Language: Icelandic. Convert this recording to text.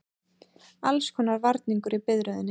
Allskonar varningur í biðröðinni.